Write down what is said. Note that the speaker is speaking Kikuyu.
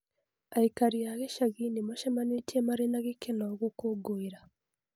Andũ a gĩcagi nĩ maacemanĩtie marĩ na gĩkeno gũkũngũĩra.